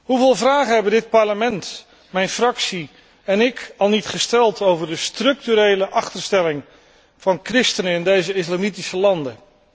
Hoeveel vragen hebben dit Parlement, mijn fractie en ik al niet gesteld over de structurele achterstelling van christenen in deze islamitische landen.